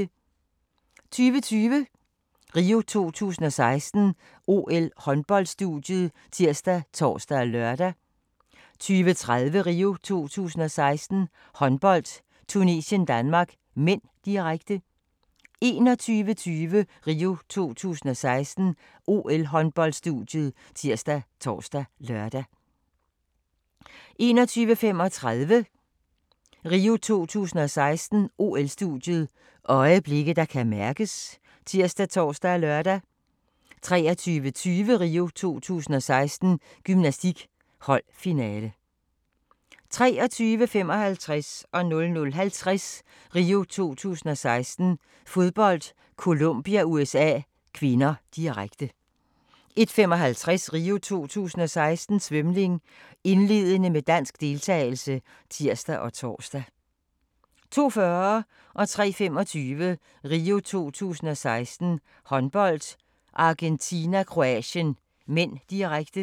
20:20: RIO 2016: OL-håndboldstudiet ( tir, tor, lør) 20:30: RIO 2016: Håndbold - Tunesien-Danmark (m), direkte 21:20: RIO 2016: OL-håndboldstudiet ( tir, tor, lør) 21:35: RIO 2016: OL-studiet – øjeblikke, der kan mærkes ( tir, tor, lør) 23:20: RIO 2016: Gymnastik - holdfinale 23:55: RIO 2016: Fodbold - Colombia-USA (k), direkte 00:50: RIO 2016: Fodbold - Colombia-USA (k), direkte 01:55: RIO 2016: Svømning - indledende med dansk deltagelse (tir og tor) 02:40: RIO 2016: Håndbold - Argentina-Kroatien (m), direkte 03:25: RIO 2016: Håndbold - Argentina-Kroatien (m), direkte